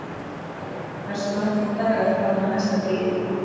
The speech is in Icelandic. Kakali, hversu margir dagar fram að næsta fríi?